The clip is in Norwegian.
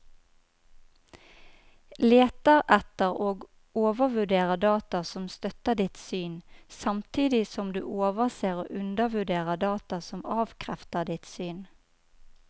Leter etter og overvurderer data som støtter ditt syn, samtidig som du overser og undervurderer data som avkrefter ditt syn.